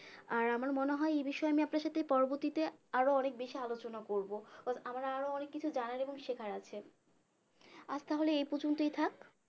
আর আমার মনে হয় এই বিষয়ে আমি আপনার সাথে পরবর্তীতে আর অনেক বেশি আলোচনা করবো আহ আমার আর অনেক কিছু জানার এবং শেখার আছে আজ তাহলে এই পর্যন্তই থাক